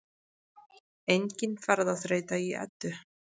Engin ferðaþreyta í Eddu